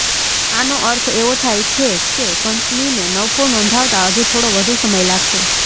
આનો અર્થ એવો થાય છે કે કંપનીને નફો નોંધાવતાં હજુ થોડો વધુ સમય લાગશે